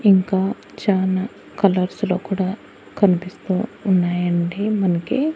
ఇంకా చానా కలర్స్ లో కూడా కనిపిస్తూ ఉన్నాయండి మనకి.